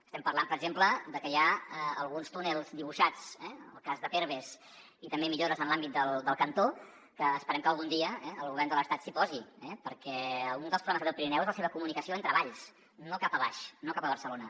estem parlant per exemple de que hi ha alguns túnels dibuixats en el cas de perves i també millores en l’àmbit del cantó que esperem que algun dia el govern de l’estat s’hi posi perquè un dels problemes que té el pirineu és la seva comunicació entre valls no cap avall no cap a barcelona